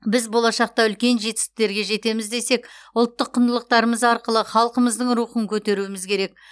біз болашақта үлкен жетістіктерге жетеміз десек ұлттық құндылықтарымыз арқылы халқымыздың рухын көтеруіміз керек